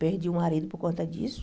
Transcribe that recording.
Perdi o marido por conta disso.